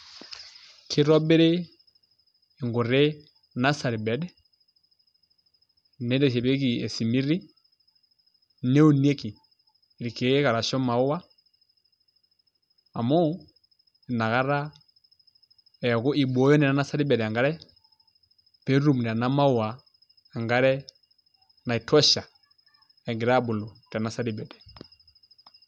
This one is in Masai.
Kitobiri nkuti nursery bed, niteshepieki esimiti, neunieki irkeek arashu maua amu inakata eeku ibooyo naa ena nursery bed enkare peetum nena maua enkare naitosha egira aabulu te nursery bed.